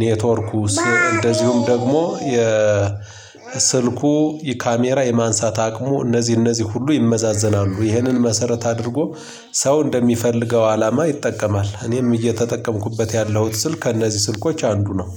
ኔትወርኩስ እንደዚሁም ደግሞ የ ስልኩ የካሜራ የማንሳት አቅሙ እነዚህ እነዚህ ሁሉ ይመዛዘናሉ። ይህንን መሰረት አድርጎ ሰው እንደሚፈልገው አላማ ይጠቀማል። እኔም እየተጠቀምኩበት ያለሁት ስልክ ከእነዚህ ስልኮች አንዱ ነው።